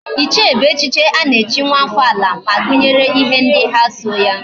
Ichie bu echichi ana echi nwa afo ala, ma gunyere ihe ndi ha so ya